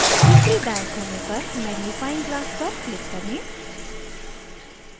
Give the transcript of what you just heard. ऊपरी दाएं कोने पर मॅग्निफाइंग glass पर click करें